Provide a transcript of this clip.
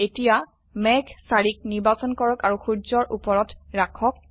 এতিয়া মেঘ ৪ক নিৰ্বাচন কৰক আৰু সূৰ্যৰ উপৰত ৰাখক